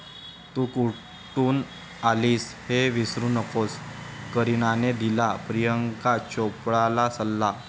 तू कुठून आलीस हे विसरू नकोस... करिनाने दिला प्रियांका चोप्राला सल्ला